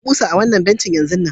Ku buga kusa ah wanna bencin yanzun nan